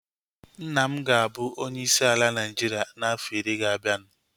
Nna m ga-abụ onye isi ala Naịjiria na afọ iri ga-abianu